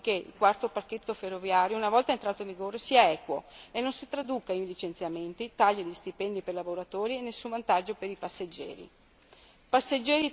Noi vigileremo affinché il quarto pacchetto ferroviario, una volta entrato in vigore, sia equo e non si traduca in licenziamenti, tagli agli stipendi dei lavoratori e nessun vantaggio per i passeggeri.